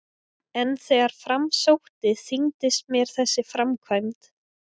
En þegar fram í sótti þyngdist mér þessi framkvæmd.